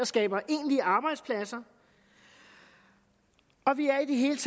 skaber egentlig arbejdspladser og vi er i det hele